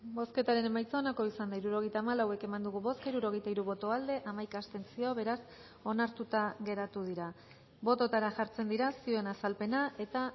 bozketaren emaitza onako izan da hirurogeita hamalau eman dugu bozka hirurogeita hiru boto aldekoa hamaika abstentzio beraz onartuta geratu dira bototara jartzen dira zioen azalpena eta